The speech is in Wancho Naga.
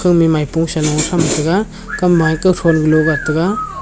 ema maipo sa lo tham taiga kam ma eka thon lu gat tega.